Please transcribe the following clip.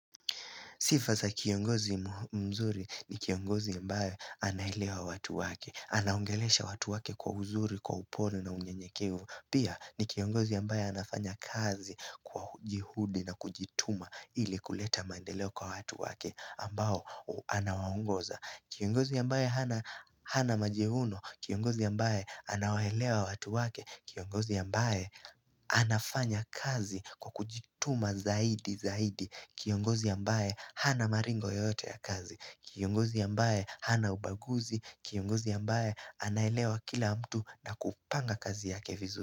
Sifaza kiongozi mzuri ni kiongozi ambae anaelewa watu wake. Anaongelesha watu wake kwa uzuri, kwa upole na unyenyekevu. Pia, ni kiongozi ambae anafanya kazi kwa jihudi na kujituma ili kuleta mandeleo kwa watu wake ambao anawaongoza. Kiongozi ambaye hana majihuno. Kiongozi ambae anawaelewa watu wake. Kiongozi ambae anafanya kazi kwa kujituma zaidi zaidi. Kiongozi ambaye hana maringo yoyote ya kazi. Kiongozi ambaye hana ubaguzi. Kiongozi ambaye anaelewa kila mtu na kupanga kazi yake vizu.